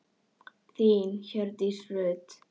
Þín Hjördís Rut.